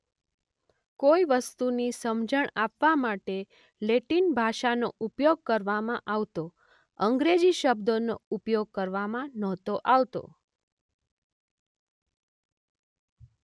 કોઇ વસ્તુની સમજણ આપવા માટે લેટિન ભાષાનો ઉપયોગ કરવામાં આવતો અંગ્રેજી શબ્દોનો ઉપયોગ કરવામાં નહોતો આવતો.